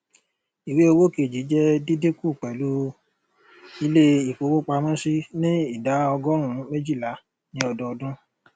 ìwé owó kejì jẹ díndínkù pẹlú ilé ìfowópamọsí ní idà ọgórùnún méjìlá ní ọdọọdún